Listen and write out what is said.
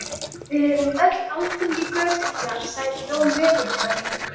Við erum alþingi götunnar sagði Jón veðurfræðingur.